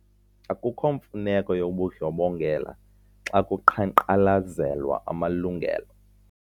Akukho mfuneko yobundlobongela xa kuqhankqalazelwa amalungelo.